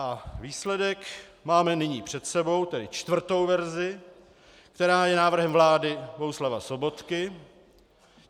A výsledek máme nyní před sebou, tedy čtvrtou verzi, která je návrhem vlády Bohuslava Sobotky.